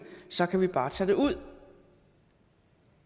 så kan vi bare tage det ud